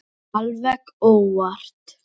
Alveg óvart!